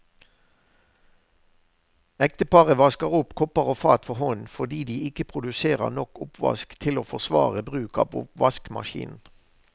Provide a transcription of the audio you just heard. Ekteparet vasker opp kopper og fat for hånd fordi de ikke produserer nok oppvask til å forsvare bruk av oppvaskmaskinen.